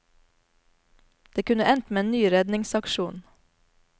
Det kunne endt med en ny redningsaksjon.